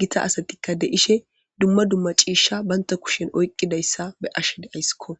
gita asatikka de7ishe dumma dumma ciishsha banta kushen oyqqidayssa be ashe de aysskko